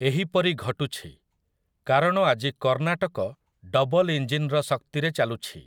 ଏହିପରି ଘଟୁଛି କାରଣ ଆଜି କର୍ଣ୍ଣାଟକ ଡବଲ୍ ଇଞ୍ଜିନ୍‌ର ଶକ୍ତିରେ ଚାଲୁଛି ।